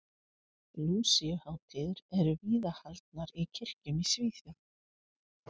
Lúsíuhátíðir eru víða haldnar í kirkjum í Svíþjóð.